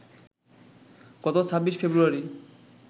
গত ২৬ ফেব্রুয়ারি